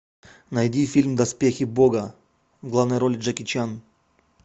найди фильм доспехи бога в главной роли джеки чан